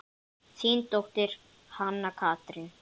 Þín dóttir, Hanna Katrín.